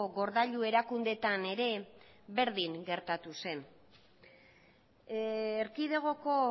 gordailu erakundeetan ere berdin gertatu zen erkidegoko